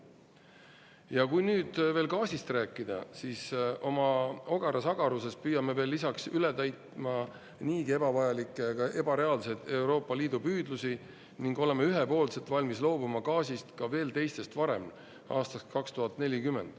Ja kui nüüd veel gaasist rääkida, siis oma ogaras agaruses püüame veel lisaks üle täitma niigi ebavajalikke, ebareaalsed Euroopa Liidu püüdlusi ning olema ühepoolselt valmis loobuma gaasist ka veel teistest varem, aastast 2040.